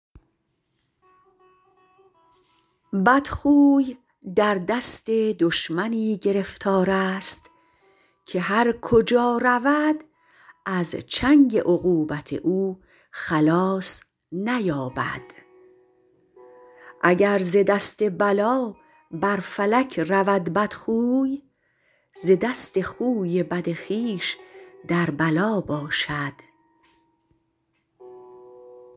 بدخوی در دست دشمنی گرفتار است که هر کجا رود از چنگ عقوبت او خلاص نیابد اگر ز دست بلا بر فلک رود بدخوی ز دست خوی بد خویش در بلا باشد